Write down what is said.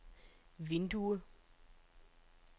vindue